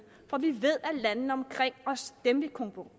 for vi ved at landene omkring os dem vi